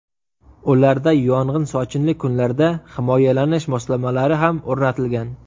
Ularda yog‘in-sochinli kunlarda himoyalanish moslamalari ham o‘rnatilgan.